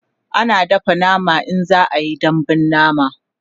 ana dafa nama in za'a Yi dambun nama